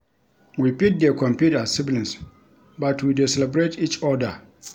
We fit dey compete as siblings but we dey celebrate each oda.